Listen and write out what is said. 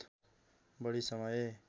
बढी समय